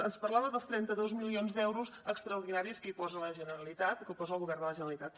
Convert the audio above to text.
ens parlava dels trenta dos milions d’euros extraordinaris que hi posa la generalitat o que posa el govern de la generalitat